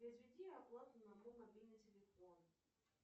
произведи оплату на мой мобильный телефон